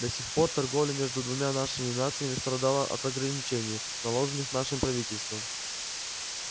до сих пор торговля между двумя нашими нациями страдала от ограничений наложенных вашим правительством